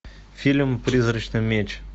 фильм призрачный меч